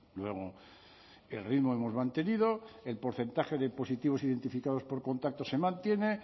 luego el ritmo hemos mantenido el porcentaje de positivos identificados por contacto se mantiene